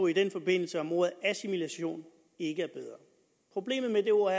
i den forbindelse om ordet assimilation ikke var bedre problemet med det ord